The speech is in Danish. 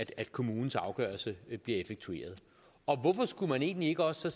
kommunens afgørelse bliver effektueret og hvorfor skulle man egentlig ikke også